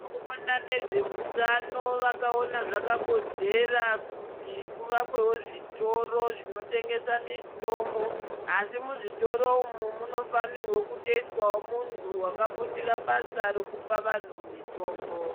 Vanoona nezveutano vakaona zvakakodzera kuti kuvakwewo zvitoro zvinotengesa mitombo asi muzvitoro umu munofanira kutoiswawo munhu akafundira basa rekuupa vanhu mitombo .